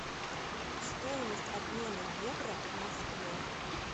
стоимость обмена евро в москве